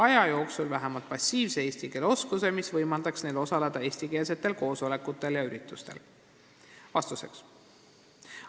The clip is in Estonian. ] jooksul vähemalt passiivse eesti keele oskuse, mis võimaldaks neil osaleda eestikeelsetel koosolekutel ja üritustel?